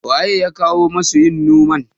waye ya kawo masu yin noman?